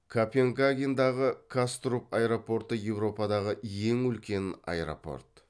копенгагендағы каструп аэропорты еуропадағы ең үлкен аэропорт